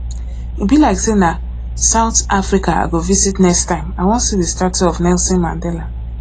e be like say na south africa i go visit next time i wan see the statue of nelson mandela